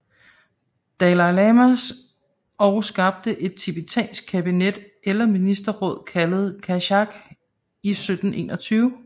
Dalai Lama og skabte et tibetansk kabinet eller ministerråd kaldet Kashag i 1721